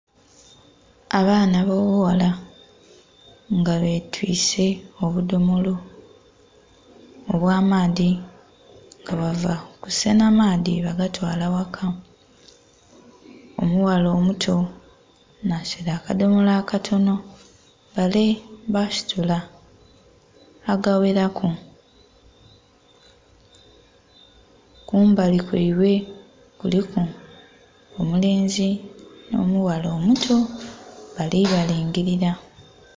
Abaana b'obughala nga betwise obudhomolo obw'amaadhi nga bava kusenha maadhi baagatwala ghaka . Omughala omuto nhasitwile akadhomolo akatonho bale baasitula agaghelaku, kumbali kwaibwe kuliku omulenzi nh'omughala omuto, bali balingilila.